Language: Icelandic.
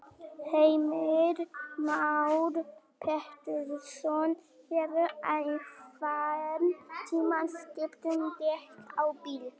Heimir Már Pétursson: Hefurðu einhvern tímann skipt um dekk á bíl?